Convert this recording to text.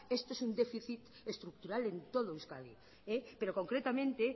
esto es un déficit estructural en todo euskadi pero concretamente